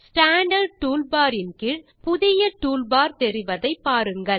standard toolbar இன் கீழ் புதிய டூல்பார் தெரிவதை பாருங்கள்